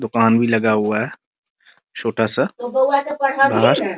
दुकान भी लगा हुआ है छोटा सा घर --